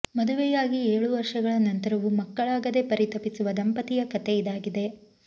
ಮದುವೆಯಾಗಿ ಏಳು ವರ್ಷಗಳ ನಂತರವೂ ಮಕ್ಕಳಾಗದೇ ಪರಿತಪಿಸುವ ದಂಪತಿಯ ಕಥೆ ಇದಾಗಿದೆ